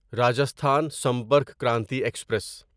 Rajasthan Sampark Kranti express